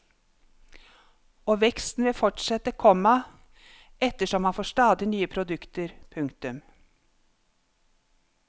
Og veksten vil fortsette, komma ettersom man får stadig nye produkter. punktum